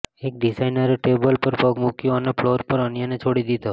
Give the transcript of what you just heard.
એક ડિઝાઇનરે ટેબલ પર પગ મૂક્યો અને ફ્લોર પર અન્યને છોડી દીધો